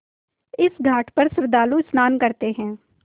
इस घाट पर श्रद्धालु स्नान करते हैं